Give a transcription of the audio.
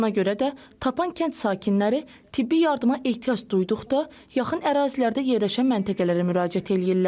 Ona görə də Tapan kənd sakinləri tibbi yardıma ehtiyac duyduqda yaxın ərazilərdə yerləşən məntəqələrə müraciət eləyirlər.